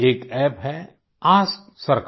एक अप्प है एएसके सरकार